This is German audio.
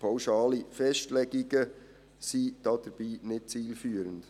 Pauschale Festlegungen sind dabei nicht zielführend.